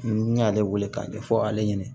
N y'ale wele k'a ɲɛfɔ ale ɲɛna